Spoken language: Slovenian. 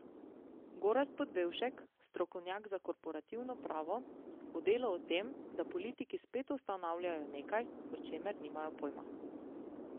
Gorazd Podbevšek, strokovnjak za korporativno pravo, v Delu o tem, da politiki spet ustanavljajo nekaj, o čemer nimajo pojma.